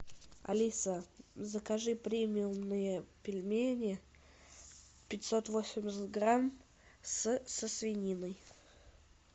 алиса закажи премиумные пельмени пятьсот восемьдесят грамм с со свининой